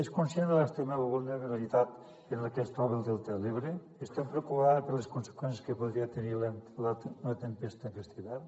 és conscient de l’extrema vulnerabilitat en la que es troba el delta de l’ebre està preocupada per les conseqüències que podria tenir una tempesta aquest hivern